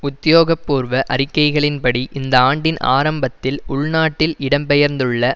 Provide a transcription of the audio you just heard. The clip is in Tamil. உத்தியோகபூர்வ அறிக்கைகளின்படி இந்த ஆண்டின் ஆரம்பத்தில் உள்நாட்டில் இடம்பெயர்ந்துள்ள